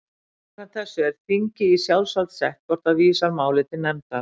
Samkvæmt þessu er þingi í sjálfsvald sett hvort það vísar máli til nefndar.